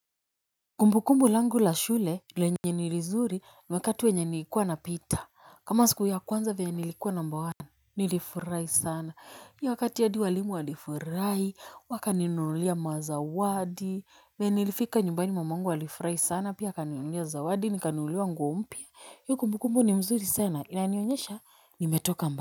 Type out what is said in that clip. Kumbu kumbu langu la shule lenye ni lizuri wakati wenye nilikuwa napita, kama siku ya kwanza venye nilikuwa namba one nilifurahi sana. Hiyo wakati hadi walimu walifurahi, wakaninunulia mazawadi. Venye nilifika nyumbani mamangu alifurahi sana pia akaninulia zawadi, nikanunuliwa nguo mpya. Hiyo kumbu kumbu ni mzuri sana inanionyesha nimetoka mba.